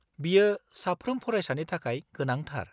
-बियो साफ्रोम फरायसानि थाखाय गोनांथार।